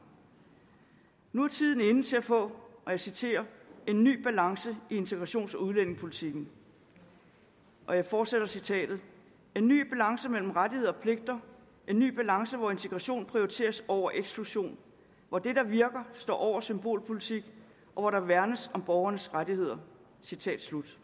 nu er tiden inde til at få og jeg citerer en ny balance i integrations og udlændingepolitikken og jeg fortsætter citatet en ny balance mellem rettigheder og pligter en ny balance hvor integration prioriteres over eksklusion hvor det der virker står over symbolpolitik og hvor der værnes om borgernes rettigheder citat slut